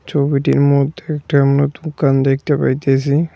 ছবিটির মধ্যে একটি আমরা দোকান দেখতে পাইতেসি।